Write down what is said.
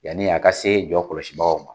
Yani a ka se jɔ kɔlɔsibagaw ma